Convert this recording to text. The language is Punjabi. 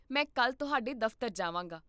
ਮੈਂ ਕੱਲ੍ਹ ਤੁਹਾਡੇ ਦਫ਼ਤਰ ਜਾਵਾਂਗਾ